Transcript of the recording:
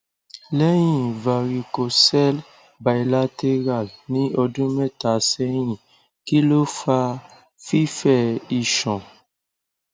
lẹyìn varicocele bilateral ní ọdún mẹta sẹyìn kí ló fa fífẹ iṣan